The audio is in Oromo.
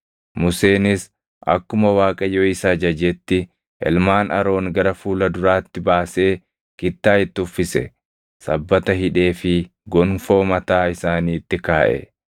Museenis akkuma Waaqayyo isa ajajetti ilmaan Aroon gara fuula duraatti baasee kittaa itti uffise; sabbata hidheefii gonfoo mataa isaaniitti kaaʼe.